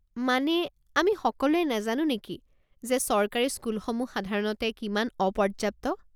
মানে, আমি সকলোৱে নাজানো নেকি যে চৰকাৰী স্কুলসমূহ সাধাৰণতে কিমান অপৰ্য্যাপ্ত?